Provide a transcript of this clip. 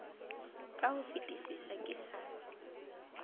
ka ho fetisisa ke sa